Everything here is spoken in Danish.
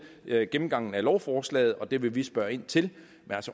ved gennemgangen af lovforslaget og det vil vi spørge ind til men